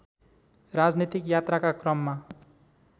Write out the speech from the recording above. राजनीतिक यात्राका क्रममा